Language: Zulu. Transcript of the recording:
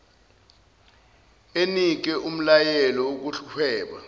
enike umlayelo wokuhweba